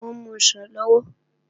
Mò ń musàn lọ́wọ́